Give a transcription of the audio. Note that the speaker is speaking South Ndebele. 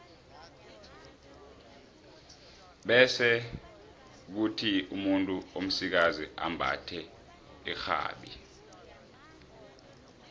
bese kuthi umuntu omsikazi ambathe irhabi